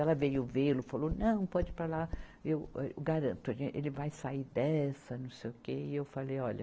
Ela veio vê-lo, falou, não, pode ir para lá, eu, âh, eu garanto, ele vai sair dessa, não sei o quê, e eu falei, olha,